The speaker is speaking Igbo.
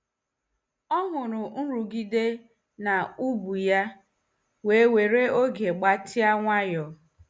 Ọ hụrụ nrụgide n'ubu ya wee were oge gbatịa nwayọ.